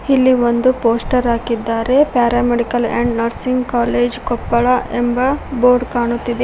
ಇಲ್ಲಿ ಒಂದು ಪೋಸ್ಟರ್ ಹಾಕಿದ್ದಾರೆ paramedical and nursing college Koppal ಎಂಬ ಬೋರ್ಡ್ ಕಾಣುತ್ತಿದೆ.